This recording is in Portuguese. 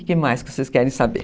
O que mais que vocês querem saber?